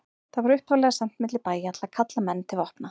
Það var upphaflega sent milli bæja til að kalla menn til vopna.